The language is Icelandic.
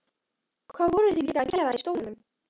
Hvað voru þau líka að gera í stólnum?